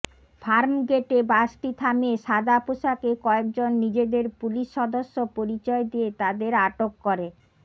ফার্মগেটে বাসটি থামিয়ে সাদা পোশাকে কয়েকজন নিজেদের পুলিশ সদস্য পরিচয় দিয়ে তাঁদের আটক করে